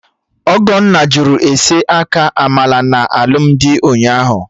Ogonne jụrụ ese aka Amala na alụmdi ụnyaahụ